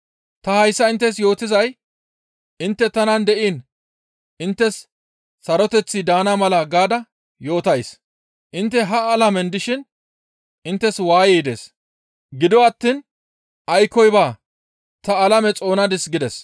Ta hayssa inttes yootizay intte tanan de7iin inttes saroteththi daana mala gaada yootays. Intte ha alamen dishin inttes waayey dees; gido attiin aykkoy baa; ta alame xoonadis» gides.